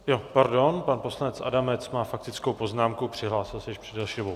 Jo, pardon, pan poslanec Adamec má faktickou poznámku, přihlásil se již před delší dobou.